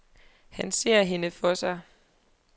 Han ser hende for sig.